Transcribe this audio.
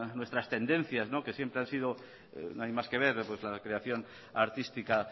nuestras tendencias que siempre han sido no hay más que ver la creación artística